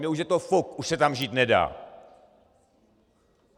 Mně už je to fuk, už se tam žít nedá.